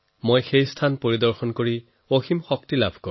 তাত গলে মই অসীম শক্তি পাও